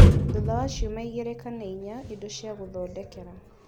thutha wa ciumia igĩrĩ kana inya indo cia gũthondekera